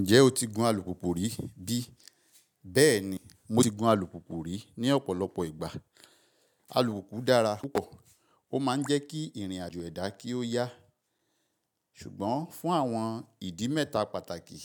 Ǹjẹ́ o ti gun alùpùpù rí bí? Bẹ́ẹ̀ni, mo ti gun alùpùpù rí ní ọ̀pọ̀lọpọ̀ ìgbà. Alùpùpù dára púpọ̀, ó ma ń jẹ́ kí ìrìn àjò ẹ̀dá kí ó yá. Ṣùgbọ́n fún àwọn ìdí mẹ́ta pàtàkì,